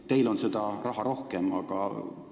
Teil on seda raha rohkem, aga siiski.